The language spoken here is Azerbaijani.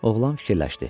Oğlan fikirləşdi.